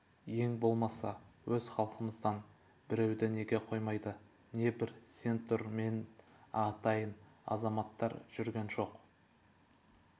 ең болмаса өз халқымыздан біреуді неге қоймайды небір сен тұр мен атайын азаматтар жүрген жоқ